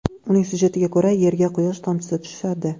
Uning sujetiga ko‘ra, yerga quyosh tomchisi tushadi.